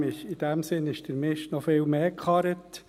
In dem Sinn ist der Mist noch viel mehr geführt.